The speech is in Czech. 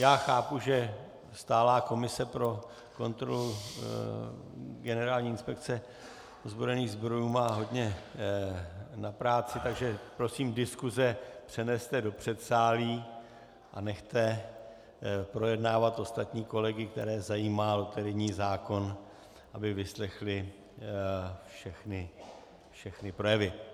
Já chápu, že stálá komise pro kontrolu Generální inspekce ozbrojených sborů má hodně na práci, takže prosím, diskuse přeneste do předsálí a nechte projednávat ostatní kolegy, které zajímá loterijní zákon, aby vyslechli všechny projevy.